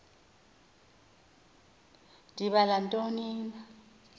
ndibala ntoni na